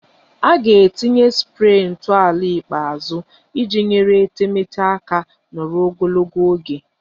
A ga-etinye spree ntọala ikpeazụ iji nyere etemeete aka nọrọ ogologo oge